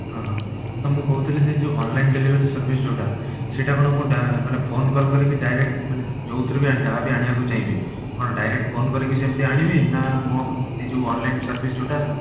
ହଁ ତ ମୁଁ କହୁଥିଲି ସେ ଯଉ online delivery service ଯଉଟା ସେଇଟା କଣ ମୋ ଡା ମାନେ phone call ପରେ ବି direct ମାନେ ଯଉଥିରେ ବି ଯାହା ବି ଆଣିବାକୁ ଚାହିଁବି କଣ direct phone କରିକି ସେମିତି ଆଣିବି ନା ମୋ ଏଇ ଯଉ online service ଯଉଟା